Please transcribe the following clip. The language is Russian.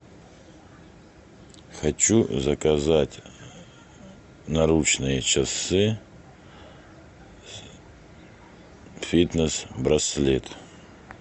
хочу заказать наручные часы фитнес браслет